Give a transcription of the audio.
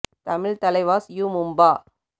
Tamil Thalaivas U Mumba